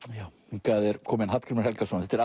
hingað er kominn Hallgrímur Helgason þetta er